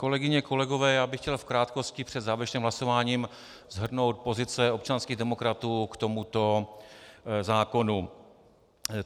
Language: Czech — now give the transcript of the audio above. Kolegyně, kolegové, já bych chtěl v krátkosti před závěrečným hlasováním shrnout pozice občanských demokratů k tomuto zákonu.